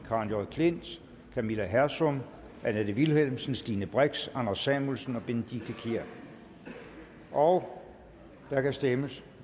karen j klint camilla hersom annette vilhelmsen stine brix anders samuelsen benedikte kiær og der kan stemmes